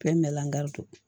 Bɛɛ mɛnlanga don